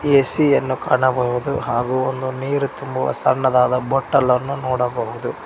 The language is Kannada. ಎ_ಸಿ ಯನ್ನು ಕಾಣಬಹುದು ಹಾಗೂ ನೀರು ತುಂಬುವ ಬಟಲ್ ಅನ್ನು ನೋಡಬಹುದು.